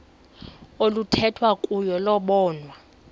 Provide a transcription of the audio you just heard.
oluthethwa kuyo lobonwa